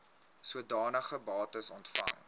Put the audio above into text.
sodanige bates ontvang